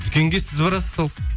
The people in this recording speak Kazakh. дүкенге сіз барасыз сол